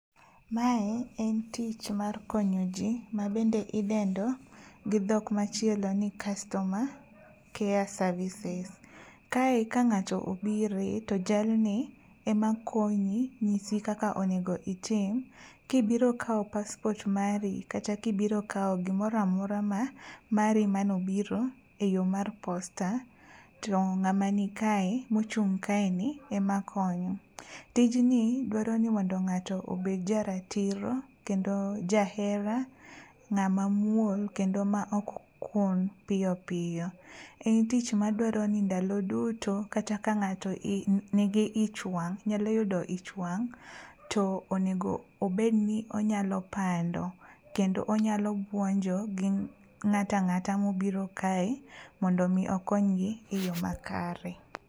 Mae en tich mar konyo ji ma bende idendo gi dhok machielo ni customer care services. Kae ka ngáto obire, to jalni ema konyi, nyisi kaka onego itim. Ka ibiro kawo passport mari, kata kibiro kao gimoro amora ma mari mane obiro e yo mar Posta, to ngáma ni kae, ma ochung' kae ni, ema konyo. Tijni dwaro ni ngáto obed ja ratiro, kendo ja hera. Ngáma muol ma ok kun piyo piyo. En tich madwaro ni ndalo duto kata ka ngáto i, nigi ich wang', nyalo yudo icha wang', to onego obed ni onyalo pando. Kendo onyalo buonjo gi ngáto angáta ma obiro kae, mondo omi okony gi e yo ma kare.